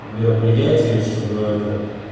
ну мероприятие чтобы это